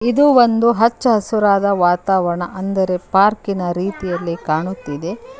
ಇದು ಒಂದು ಹಚ್ಚ ಹಸಿರಿನ ವಾತಾವರಣ ಅಂದರೆ ಪಾರ್ಕ್ನಂತೆ ಕಾಣುತ್ತಿದೆ.